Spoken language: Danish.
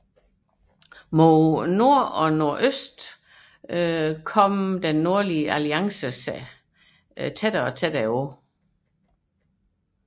Mod nord og nordøst nærmede Den Nordlige Alliance sig